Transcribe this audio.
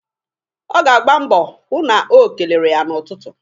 Ọ ga-agba mbọ hụ na o kelere ya n'ụtụtụ.